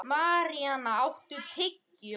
Maríam, áttu tyggjó?